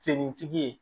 Finitigi ye